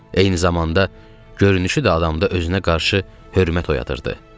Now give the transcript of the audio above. Eyni zamanda görünüşü də adamda özünə qarşı hörmət oyadırdı.